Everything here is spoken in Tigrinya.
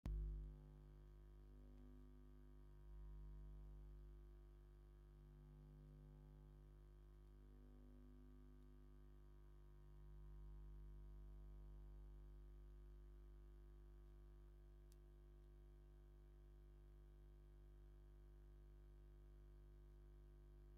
ጽዑቕ ጽርግያ ወይ ዕዳጋ ከባቢ ዘርኢ እዩ። ንመጀመርታ ግዜ ክትጥምቶ ከለኻ፡ ብዙሓት ንኣሽቱ ሕብራዊ ፕላስቲክ መንበር (መብዛሕትአን ሰማያዊ ገሊአን ድማ ሐምላይ፡ ጻዕዳን ሮዛን) ትርኢ። እተን መንበር ኣብ ጽላል ተሰሪዐን ሰባት ኮፍ ኢሎም ይርከቡ።